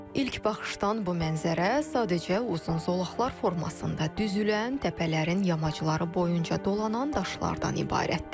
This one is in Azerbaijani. İlk baxışdan bu mənzərə sadəcə uzun zolaqlar formasında düzülən təpələrin yamacları boyunca dolanan daşlardan ibarətdir.